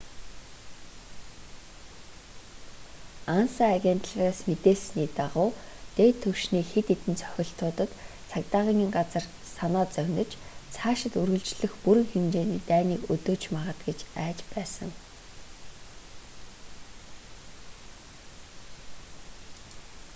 анса агентлагаас мэдээлсний дагуу дээд түвшний хэд хэдэн цохилтуудад цагдаагийн газар санаа зовниж цаашид үргэлжлэх бүрэн хэмжээний дайныг өдөөж магад гэж айж байсан